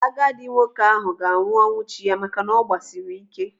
Agadi nwoke ahụ ga-anwụ ọnwụ chi ya maka na ọ gbasiri ike.